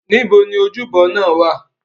Níbo ni ojúbọ náà wá à?